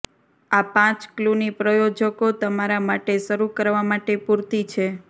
આ પાંચ ક્લૂની પ્રાયોજકો તમારા માટે શરૂ કરવા માટે પૂરતી છે